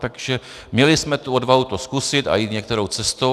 Takže měli jsme tu odvahu to zkusit a jít některou cestou.